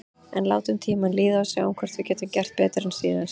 En látum tímann líða og sjáum hvort við getum gert betur en síðast.